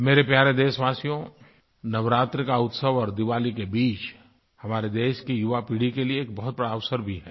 मेरे प्यारे देशवासियो नवरात्रि का उत्सव और दिवाली के बीच हमारे देश की युवा पीढ़ी के लिए एक बहुत बड़ा अवसर भी है